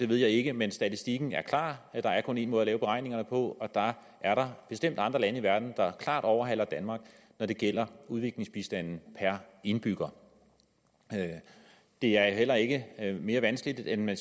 ved jeg ikke men statistikken er klar der er kun én måde at lave beregningerne på og der er da bestemt andre lande i verden der klart overhaler danmark når det gælder udviklingsbistand per indbygger det er heller ikke mere vanskeligt end at